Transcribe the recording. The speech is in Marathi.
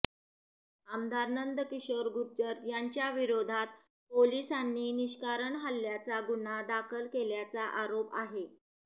आमदार नंद किशोर गुर्जर यांच्याविरोधात पोलिसांनी निष्कारण हल्ल्याचा गुन्हा दाखल केल्याचा आरोप आहे